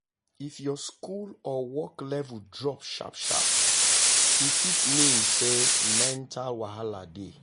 if your school or work level drop sharp sharp e fit mean say mental wahala dey.